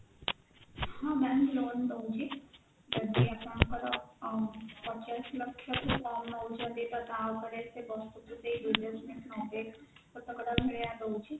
ହଁ bank loan ଦଉଛି ଯଦି ଆପଣଙ୍କର ପଚାଶ ଲକ୍ଷ ତ ତା ଉପରେ ଭଳିଆ ଦଉଛି